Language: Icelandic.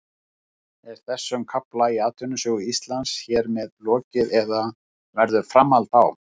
Er þessum kafla í atvinnusögu Íslands hér með lokið eða verður framhald á?